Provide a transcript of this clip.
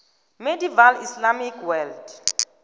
medieval islamic world